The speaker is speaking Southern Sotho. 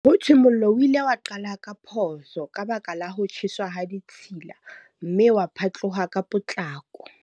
Ho thwe mollo o ile wa qala ka phoso, ka baka la ho tjheswa ha ditshila. Mme wa phatloha ka potlako.